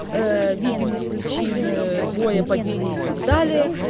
ээ видимых причин ээ боя падения и так далее